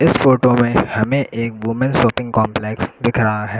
इस फोटो में हमें एक वूमेन शॉपिंग कॉम्प्लेक्स दिख रहा है।